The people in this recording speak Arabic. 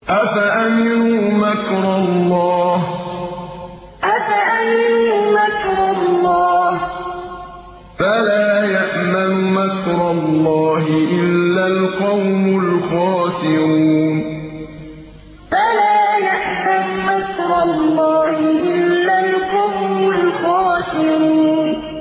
أَفَأَمِنُوا مَكْرَ اللَّهِ ۚ فَلَا يَأْمَنُ مَكْرَ اللَّهِ إِلَّا الْقَوْمُ الْخَاسِرُونَ أَفَأَمِنُوا مَكْرَ اللَّهِ ۚ فَلَا يَأْمَنُ مَكْرَ اللَّهِ إِلَّا الْقَوْمُ الْخَاسِرُونَ